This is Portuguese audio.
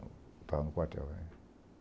Estava no quartel.